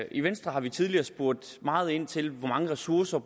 i venstre har vi tidligere spurgt meget ind til hvor mange ressourcer